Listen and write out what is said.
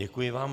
Děkuji vám.